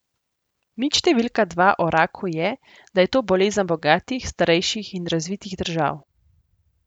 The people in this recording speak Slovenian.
Mit številka dva o raku je, da je to bolezen bogatih, starejših in razvitih držav.